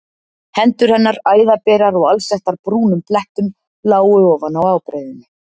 Hendur hennar, æðaberar og alsettar brúnum blettum lágu ofan á ábreiðunni.